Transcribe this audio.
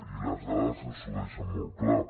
i les dades ens ho deixen molt clar